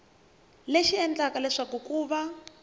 lexi endlaka leswaku ku va